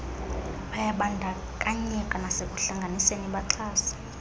bayabandakanyeka nasekuhlanganiseni baxhase